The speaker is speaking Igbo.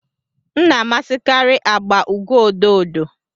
m na-amasịkarị agba ugo ododo